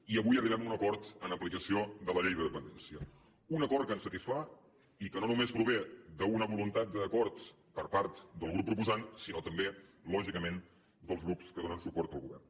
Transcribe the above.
i avui arribem a un acord en aplicació de la llei de dependència un acord que ens satisfà i que no només prové d’una voluntat d’acord per part del grup proposant sinó també lògicament dels grups que donen suport al govern